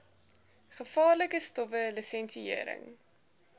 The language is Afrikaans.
gevaarlike stowwe lisensiëring